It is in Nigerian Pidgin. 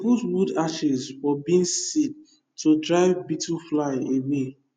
put wood ashes for beans seed to drive beetlefly away